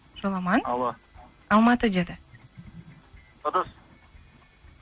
жоламан алло алматы деді ыдыс